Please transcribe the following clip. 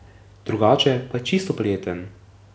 Drugače je pa čisto prijeten.